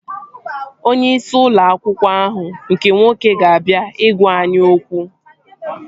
Onye isi ụlọ akwụkwọ ahụ nke nwoke ga-abịa ị gwaa anyị okwu